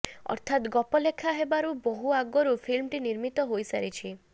ଅର୍ଥାତ ଗପ ଲେଖା ହେବାର ବହୁ ଆଗରୁ ଫିଲ୍ମଟି ନିର୍ମିତ ହୋଇସାରିଛି